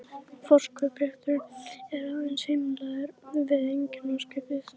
Forkaupsréttur er aðeins heimilaður við eigendaskipti.